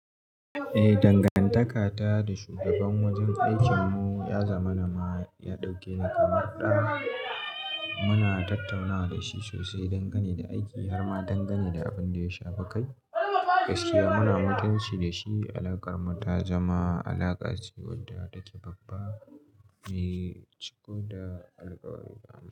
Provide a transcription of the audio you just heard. Eh, dangantaka ta da shugaban wajen aikinmu ya zama na ma ya ɗauke ni kamar ɗa. Muna tattaunawa da shi sosai, dangane da aiki na ma dangane da abin da ya shafi kai. Gaskiya muna mutunci da shi. Alaƙarmu ta zama alaƙa ce wadda take babba, mai ciko da alkawari.